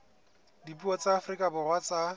dipuo tsa afrika borwa tsa